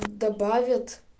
добавят